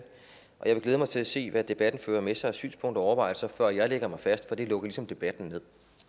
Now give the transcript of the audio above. og jeg vil glæde mig til at se hvad debatten fører med sig af synspunkter og overvejelser før jeg lægger mig fast for det lukker ligesom debatten